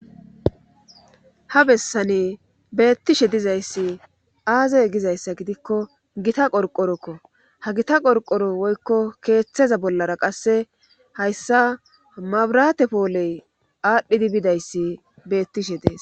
ha bessani beettishe dizayssi aazey gizayssa gidikko gita qorqorokko ha gita qorqoro woykko keeththeza bollara qasse hayssa mabrate pooley aadhdhidi bidayssi beettishe dees